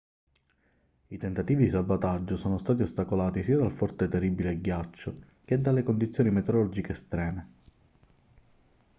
i tentativi di salvataggio sono stati ostacolati sia dal forte terribile ghiaccio che dalle condizioni meteorologiche estreme